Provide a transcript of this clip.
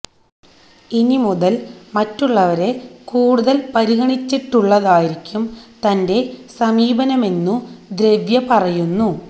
ഇനി മുതല് മറ്റുള്ളവരെ കൂടുതല് പരിഗണിച്ചുള്ളതായിരിക്കും തന്റെ സമീപനമെന്നു ദ്രവ്യ പറയുന്നു